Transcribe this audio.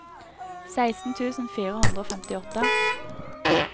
seksten tusen fire hundre og femtiåtte